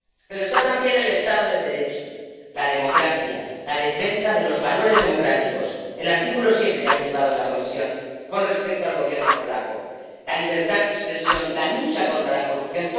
Pero está también el Estado de Derecho, la democracia, la defensa de los valores democráticos —el artículo 7 que ha activado la Comisión con respecto al Gobierno polaco la libertad de expresión, la lucha contra la corrupción.